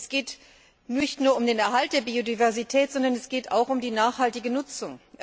Es geht nicht nur um den Erhalt der Biodiversität, sondern es geht auch um die nachhaltige Nutzung.